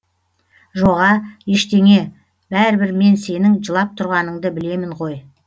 жоға ештеңе бәрібір мен сенің жылап тұрғаныңды білемін ғой